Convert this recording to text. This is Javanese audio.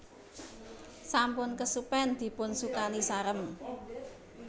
Sampun kesupen dipun sukani sarem